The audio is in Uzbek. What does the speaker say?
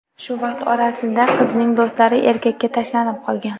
Shu vaqt orasida qizning do‘stlari erkakga tashlanib qolgan.